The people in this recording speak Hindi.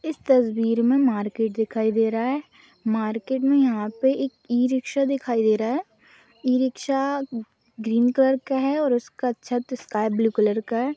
इस तस्वीर मे मार्केट दिखाई दे रहा हैं मार्केट मे यहाँ पे एक ई रिकसा दिखाई दे रहा है इ रिकसा ग्रीन कलर का है और उसका छत स्काइ ब्लू कलर का है।